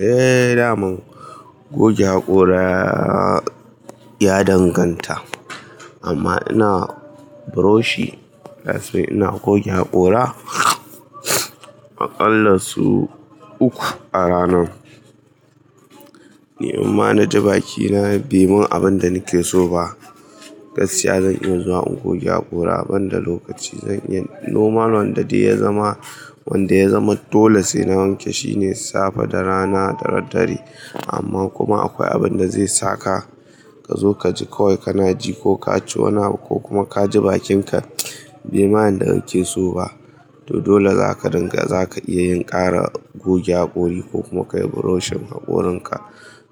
Eh, daman goge hakora ya danganta. Amma ina buroshi, ina goge hakora aƙalla sau uku a rana. Neman na ji bakina bai mun abin da nake so ba, gaskiya zan iya zuwa in goge hakora a banda lokaci. Normal wanda ya zama dole sai na wanke shine safe da rana dare dare. Amma kuma akwai abin da zai saka ka zo ka ji kawai kana ji ko ka ci wani abu ko kuma ka ji bakinka bai ma yin da kake so ba. To dole zaka dinga zaka iya yin ƙara goge hakori ko kuma kayi buroshin hakorinka.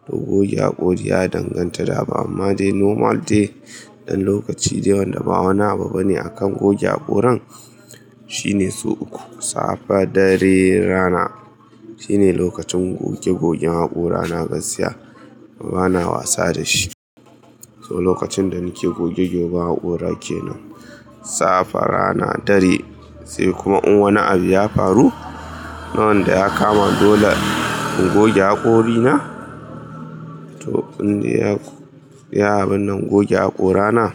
To goge hakori ya danganta da abu amma dai normal dai ɗan lokaci da wanda ba wani abu bane akan goge hakoran shine sau uku. Safe, dare, rana. Shine lokacin goge gogen hakora na gaskiya bana wasa da shi. To lokacin da nake goge goge bakora ke nan safe rana dare sai kuma in wani abu ya faru, na wanda ya kama dole in goge hakorina. To bindiya ya haba nan goge hakorana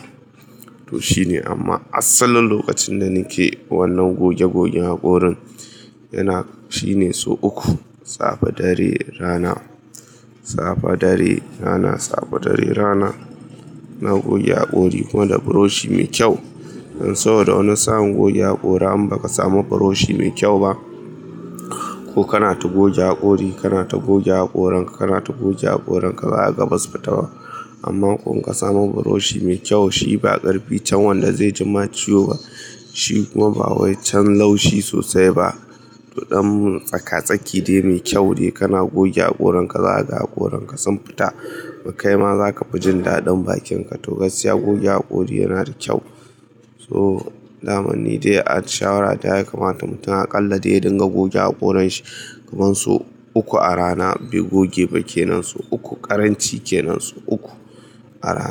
to shine amma asalin lokacin da nake wannan goge gogen hakorin yana shine sau uku. Safe, dare, rana. Safe, dare, rana. Safe, dare rana na goge hakori kuma da buroshi mai kyau. Saboda wani sa'n goge hakora in ba ka samu buroshi mai kyau ba ko kana ta goge hakori kana ta goge hakoranka kana ta goge hakoranka ba'a za kaga basu fi taba. Amma in ka samu buroshi mai kyau, shi ba ƙarfi can wanda zai jima ciwo ba shi kuma ba wai can laushi sosai ba. To ɗan tsaka-tsaki dai mai kyau dai kana goge hakoranka zaga hakoranka sun fita. Kai ma zaka fi jin daɗin bakinka. To gaskiya goge hakori yana da kyau. To daman ni dai shawara ta yi kamata mutum aƙalla dai ya dinga goge hakorin shi kaman sau uku a rana bai goge ba kenan sau uku ƙaranci kenan sau uku a rana.